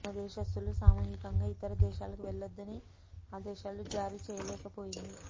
తమ దేశస్తులు సామూహికంగా ఇతర దేశాలకు వెళ్లవద్దని ఆదేశాలు జారీ చేయలేకపోయింది